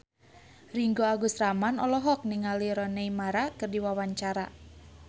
Ringgo Agus Rahman olohok ningali Rooney Mara keur diwawancara